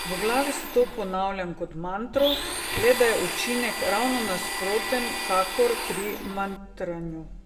V glavi si to ponavljam kot mantro, le da je učinek ravno nasproten kakor pri mantranju.